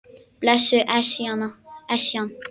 Blessuð Esjan.